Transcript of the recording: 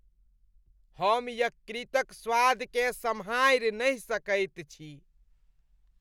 हम यकृतक स्वादकेँ सम्हारि नहि सकैत छी।